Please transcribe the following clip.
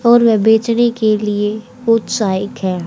और वे बेचने के लिए उत्त्साहिक हैं।